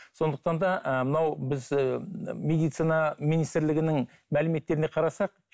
сондықтан да ы мынау біз медицина министрлігінің мәліметтеріне қарасақ